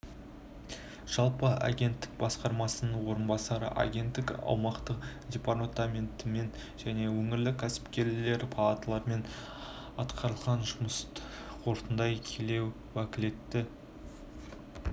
жалпы агенттік басшысының орынбасары агенттіктің аумақтық департаменттерімен және өңірлік кәсіпкерлер палаталарымен атқарылған жұмысты қорытындылай келе уәкілетті